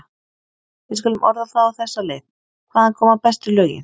Við skulum orða það á þessa leið: hvaðan koma bestu lögin?